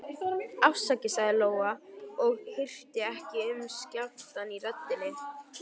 Afsakið, sagði Lóa og hirti ekki um skjálftann í röddinni.